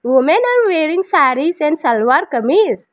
women are wearing sarees and salwar kamij .